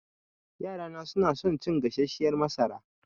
Ƴaƴana suna son cin gasasshiyar masara.